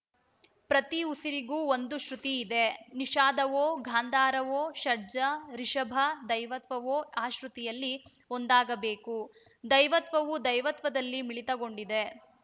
ಪ್ರತಿ ಉಸಿರಿಗೂ ಒಂದು ಶ್ರುತಿ ಇದೆ ನಿಷಾದವೋ ಗಾಂಧಾರವೋ ಷಡ್ಜ ರಿಷಭ ಧೈವತವೋ ಆ ಶ್ರುತಿಯಲ್ಲಿ ಒಂದಾಗಬೇಕು ಧೈವತವು ದೈವತ್ವದಲ್ಲಿ ಮಿಳಿತಗೊಂಡಿದೆ